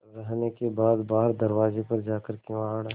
रहने के बाद बाहर दरवाजे पर जाकर किवाड़